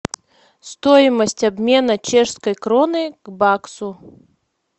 стоимость обмена чешской кроны к баксу